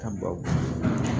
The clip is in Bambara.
Ka baw